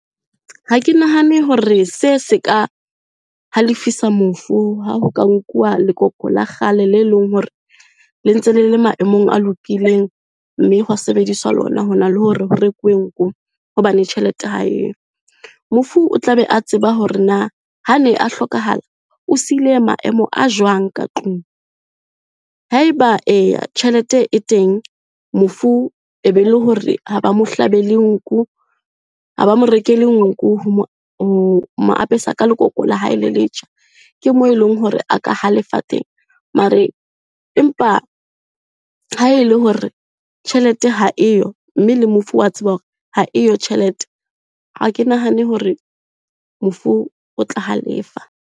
Ha ke nahane hore se se ka halefisa mofu, ha ho ka nkuwa lekoko la kgale le leng hore, le ntse le le maemong a lokileng mme hwa sebediswa lona hona le hore ho rekwe nku, hobane tjhelete haeyo. Mofu o tla be a tseba hore na ha ne a hlokahala o sile maemo a jwang ka tlung. Haeba eya, tjhelete e teng mofu e be le hore ha ba mo hlabele nku, ha ba mo rekele nku ho mo apesa ka lekoko la hae le letjha, ke moo e leng hore a ka halefa teng. Mare, empa ha e le hore tjhelete ha eyo, mme le mofu wa tseba hore haeyo tjhelete ha ke nahane hore mofu o tla halefa.